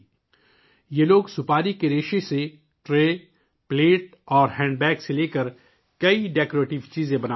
یہ لوگ سپاری کے ریشے سے ٹرے، پلیٹ اور ہینڈ بیگ سے لے کر بہت سی آرائشی چیزیں بنا رہے ہیں